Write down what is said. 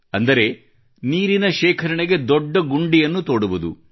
ಅಂದರೆ ನೀರಿನ ಶೇಖರಣೆಗೆ ದೊಡ್ಡ ಗುಂಡಿಯನ್ನು ತೋಡುವುದು